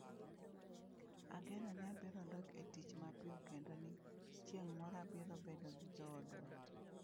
Ageno ni abiro dok e tich mapiyo kendo ni chieng’ moro abiro bedo gi joodwa.